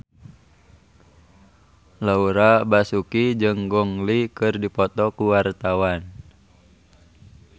Laura Basuki jeung Gong Li keur dipoto ku wartawan